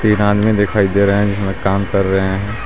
एक आदमी दिखाए दे रहे है जिसमें काम कर रहे हैं.